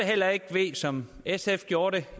heller ikke ved som sf gjorde det